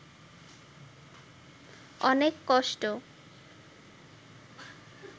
অনেক কষ্ট